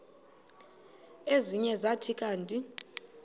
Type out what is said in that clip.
ezinye zathi kanti